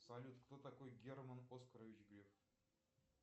салют кто такой герман оскарович греф